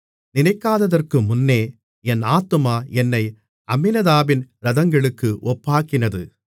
நினைக்காததற்குமுன்னே என் ஆத்துமா என்னை அம்மினதாபின் இரதங்களுக்கு ஒப்பாக்கினது மணவாளியின் தோழிகள்